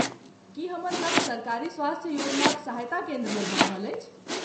की हमर गप सरकारी स्वास्थ्य योजनाक सहायता केन्द्रमे भऽ रहल अछि?